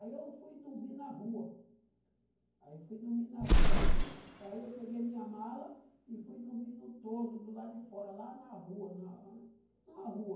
Aí eu fui dormir na rua, aí eu fui dormir na rua, aí fui, aí eu peguei minha mala e fui dormir no todo, do lado de fora, lá na rua, numa, numa rua.